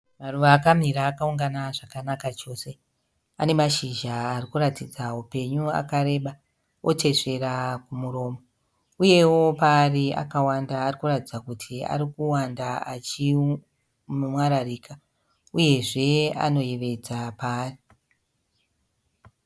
Maruva akamira akaungana zvakanaka chose anemashizha arikuratidza upenyu akareba kwete zveramuromo, uyewo paari akawanda arikuratidza kuti arikuwanda achimwariraka uyezve anoyevedza paari.